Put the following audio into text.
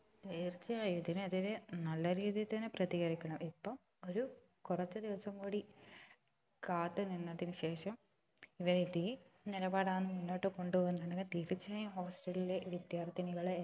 തീർച്ചയായും ഇതിന് എതിരെ നല്ല രീതിയിൽ തന്നെ പ്രതികരിക്കണം ഇപ്പൊ ഒരു കുറച്ച് ദിവസം കൂടി കാത്തു നിന്നതിന് ശേഷം ഇവര് ഇതേ നിലപാട് ആണ് മുന്നോട്ട് കൊണ്ട് പോവുന്നതെങ്കിൽ തീർച്ചയായും hostel ലെ വിദ്യാർത്ഥിനികളെ